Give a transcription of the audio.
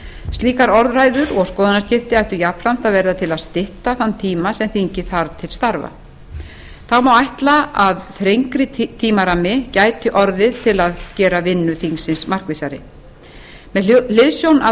slíkar orðræður og skoðanaskipti ættu jafnframt að verða til að stytta þann tíma sem þingið þarf til starfa þá má ætla að þrengri tímarammi gæti orðið til að gera vinnu þingsins markvissari með hliðsjón af